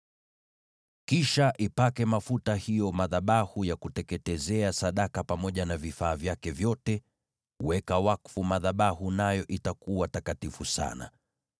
Kisha yapake mafuta hayo madhabahu ya kuteketezea sadaka pamoja na vifaa vyake vyote; weka wakfu madhabahu nayo yatakuwa takatifu sana.